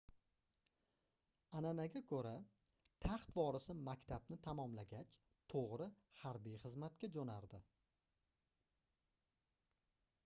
anʼanaga koʻra taxt vorisi maktabni tamomlagach toʻgʻri harbiy xizmatga joʻnardi